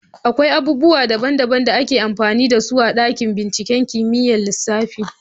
Akwai abubuwa daban-daban da ake amfani da su a dakin binciken kimiyyar lissafi.